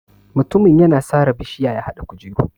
Mutumin yana sare bishiya ya haɗa kujeru.